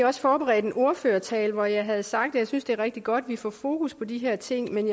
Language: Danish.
også forberedt en ordførertale hvor jeg havde sagt at jeg synes det er rigtig godt at vi får fokus på de her ting men